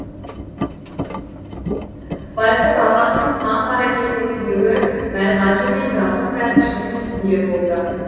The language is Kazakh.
байқұс апасының қам қаракеті күйеуі мәлғажы мен жалғыз бәтішінің үстінде болды